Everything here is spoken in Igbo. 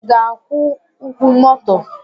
I ga-akwụ ụkwụ moto?